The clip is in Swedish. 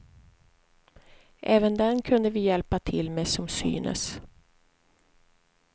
Även den kunde vi hjälpa till med, som synes.